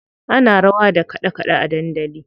Ana rawa da kaɗe kaɗe a dandali.